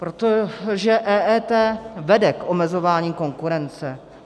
Protože EET vede k omezování konkurence.